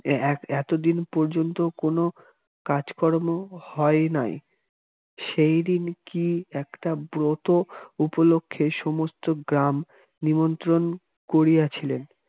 এ এক এতদিন পর্যন্ত কোন কাজকর্ম হয় নাই সেদিন কি একটা ব্রত উপলক্ষে সমস্ত গ্রাম নিমন্ত্রণ করিয়াছিলেন